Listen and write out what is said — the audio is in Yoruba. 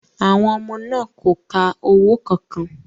Àwọn ọmọ náà kò ka owó kankan